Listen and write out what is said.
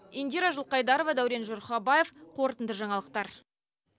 индира жылқайдарова дәурен жұрхабаев қорытынды жаңалықтар